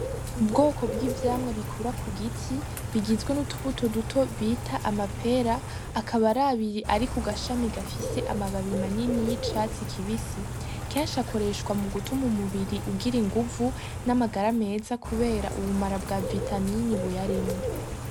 Ubwoko bw'ivyamwa bikura ku giti bigizwe n'utubuto duto bita amapera akabarabiri ari ku gashami gafise amababi manini y'icatsi kibisi kenshi akoreshwa mu gutuma umubiri ugira inguvu n'amagara meza, kubera ubumara bwa vitamini buy arimwo.